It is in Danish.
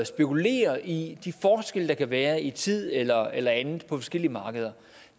spekulere i de forskelle der kan være i tid eller eller andet på forskellige markeder